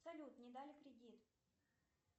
салют не дали кредит